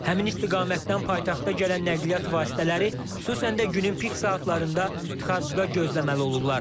Həmin istiqamətdən paytaxta gələn nəqliyyat vasitələri xüsusən də günün pik saatlarında tıxacda gözləməli olurlar.